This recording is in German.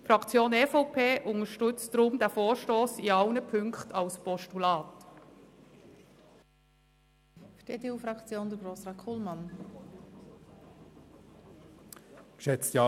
Die Fraktion EVP unterstützt deshalb alle Ziffern des Vorstosses als Postulat.